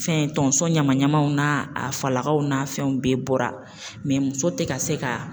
Fɛn tonso ɲama ɲamaw n'a a falakaw n'a fɛnw bɛɛ bɔra mɛ muso tɛ ka se ka